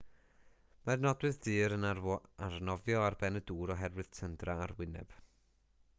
mae'r nodwydd ddur yn arnofio ar ben y dŵr oherwydd tyndra arwyneb